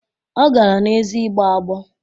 Ọ gara n'ezi ịgbọ agbọ